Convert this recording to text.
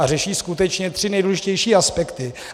A řeší skutečně tři nejdůležitější aspekty.